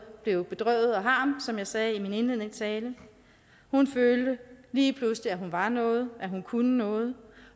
blev bedrøvet og harm som jeg sagde i min indledende tale hun følte lige pludselig at hun var noget at hun kunne noget